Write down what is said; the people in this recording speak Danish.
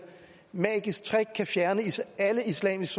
magisk trick kan fjerne alle islamisk